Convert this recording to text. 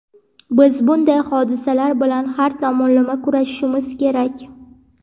biz bunday hodisalar bilan har tomonlama kurashishimiz kerak.